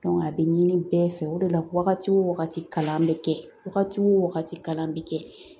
a bɛ ɲini bɛɛ fɛ o de la wagati o wagati kalan bɛ kɛ wagati o wagati kalan bɛ kɛ